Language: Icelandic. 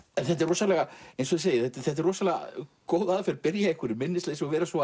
eins og þið segið þetta er góð aðferð byrja í minnisleysi og vera svo